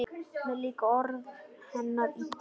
Mér líka orð hennar illa: